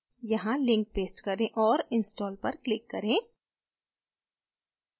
यहाँ link paste करें और install पर click करें